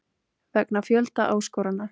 Vegna fjölda áskorana.